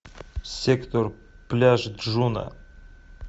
сектор пляж джуно